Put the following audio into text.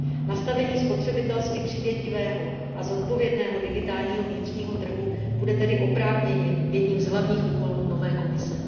Nastavení spotřebitelsky přívětivého a zodpovědného digitálního vnitřního trhu bude tedy oprávněně jedním z hlavních úkolů nové Komise.